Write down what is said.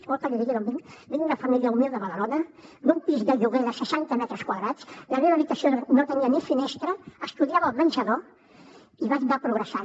vol que li digui d’on vinc vinc d’una família humil de badalona d’un pis de lloguer de seixanta metres quadrats la meva habitació no tenia ni finestra estudiava al menjador i vaig anar progressant